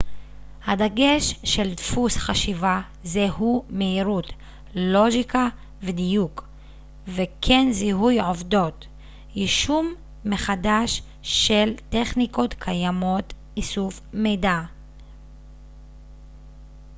הדגש של דפוס חשיבה זה הוא מהירות לוגיקה ודיוק וכן זיהוי עובדות יישום מחדש של טכניקות קיימות איסוף מידע